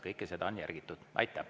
Kõike seda on järgitud.